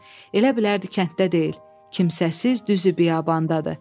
Elə bilərdi kənddə deyil, kimsəsiz düzü biyabandadır.